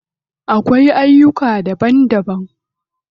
Akwai aiyuka daban daban.